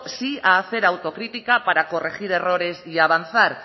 sí a hacer autocrítica para corregir errores y avanzar